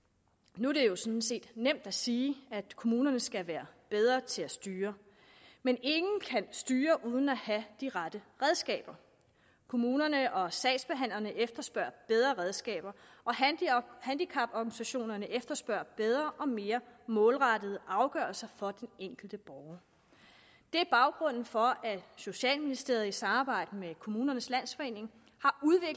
nu er det jo sådan set nemt at sige at kommunerne skal være bedre til at styre men ingen kan styre uden at have de rette redskaber kommunerne og sagsbehandlerne efterspørger bedre redskaber og handicaporganisationerne efterspørger bedre og mere målrettede afgørelser over for den enkelte borger det er baggrunden for at socialministeriet i samarbejde med kommunernes landsforening